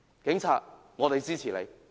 警察，我們支持你。